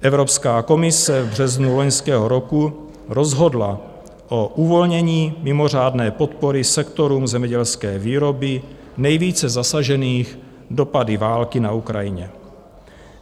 Evropská komise v březnu loňského roku rozhodla o uvolnění mimořádné podpory sektorům zemědělské výroby nejvíce zasažených dopady války na Ukrajině.